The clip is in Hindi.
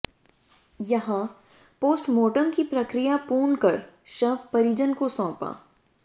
यहां पोस्टमार्टम की प्रक्रिया पूर्ण कर शव परिजन को सौंपा